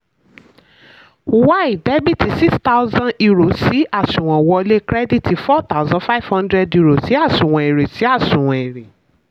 y debit six thousand euro sí àṣùwọ̀n wọlé credit four thousand five hundred euro sí àṣùwọ̀n èrè. sí àṣùwọ̀n èrè.